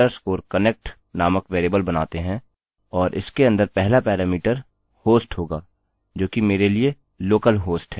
और इसके अंदर पहला पैरामीटर host होगा जो कि मेरे लिए localhost है